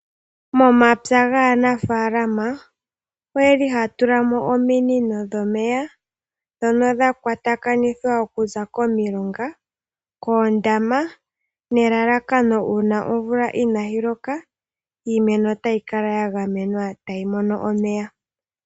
Momapya gaanafaalama oyeli haya tula mo ominino dhomeya ndhono dha kwata kanithwa okuza komilonga, koondama nelalakano uuna omvula inaayi loka iimeno otayi kala ya gamenwa tayi mono omeya.